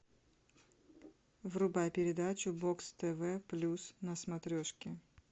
врубай передачу бокс тв плюс на смотрешке